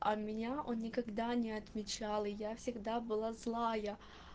а меня он никогда не отмечал и я всегда была злая